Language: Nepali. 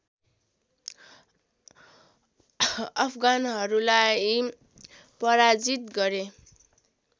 अफगानहरूलाई पराजित गरे